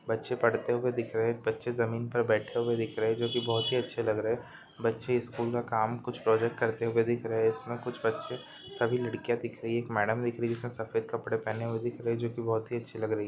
बचे पढ़ते हुए दिख रहे है बचे जमीन पर बैठे हुए दिख रहे है। जो की बहुत ही अच्छे लग रहे है बचे स्कूल का काम कुछ प्रोजेक्ट करते दिख रहे है कुछ इसमें बच्चे सभी लड़कियां दिख रही है मैडम दिख रही है जो सफेद कपड़े पहनें जो की बहुत ही अच्छी लग रही है।